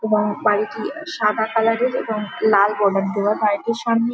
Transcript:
এবং বাড়িটি সাদা কালারের এবং লাল বর্ডার দেওয়া বাড়িটির সামনে-এ--